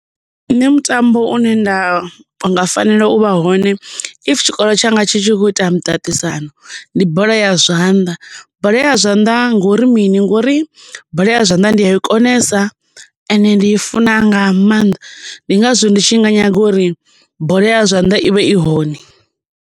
Nṋe mutambo une nda nga fanela uvha hone if tshikolo tshanga tshi tshi khou ita muṱaṱisano ndi bola ya zwanḓa. Bola ya zwanḓa ngori mini ngori bola ya zwanḓa ndi a i konesa ende ndi i funa nga maanḓa ndi ngazwo ndi tshi nga nyaga uri bola ya zwanḓa ivhe i hone.